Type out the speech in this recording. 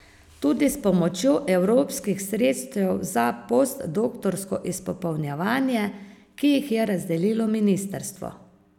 Tudi s pomočjo evropskih sredstev za postdoktorsko izpopolnjevanje, ki jih je razdelilo ministrstvo.